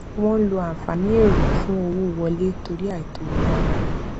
wọn ń lo ànfààní èrò fún owó wọlé torí àìtó náírà